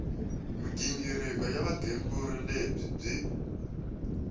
mighingiriko ya vugembuli lebyi byi